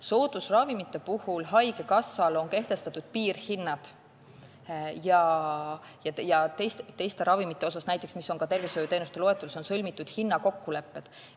Soodusravimitele on haigekassal kehtestatud piirhinnad ja teiste ravimite kohta, mis on näiteks ka tervishoiuteenuste loetelus, on sõlmitud hinnakokkulepped.